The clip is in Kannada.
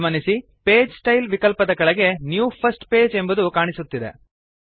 ಗಮನಿಸಿ ಪೇಜ್ ಸ್ಟೈಲ್ ವಿಕಲ್ಪದ ಕೆಳಗೆ ನ್ಯೂ ಫರ್ಸ್ಟ್ ಪೇಜ್ ಎಂಬುದು ಕಾಣುತ್ತಿದೆ